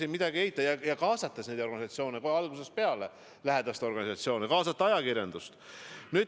Ja kaasata neid organisatsioone kohe algusest peale, kaasata lähedaste organisatsioone, kaasata ajakirjandust.